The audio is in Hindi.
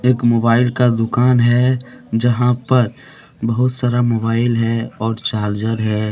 एक मोबाइल का दुकान है यहां पर बहुत सारा मोबाइल है और चार्जर है।